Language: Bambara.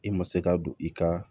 I ma se ka don i ka